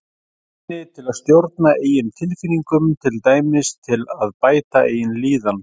Hæfni til að stjórna eigin tilfinningum, til dæmis til að bæta eigin líðan.